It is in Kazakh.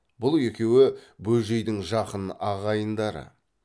бұл екеуі бөжейдің жақын ағайындары